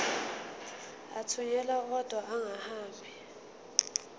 athunyelwa odwa angahambi